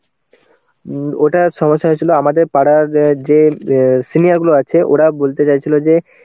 উম ওটার সমস্যা হয়েছিল আমাদের পাড়ার যে অ্যাঁ senior গুলো আছে ওরা বলতে চাইছিল যে